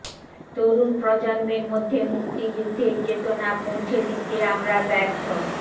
তরুণ প্রজন্মের মধ্যে মুক্তিযুদ্ধের চেতনা পৌঁছে দিতে আমরা ব্যর্থ